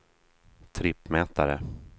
trippmätare